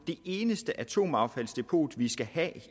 det eneste atomaffaldsdepot vi skal have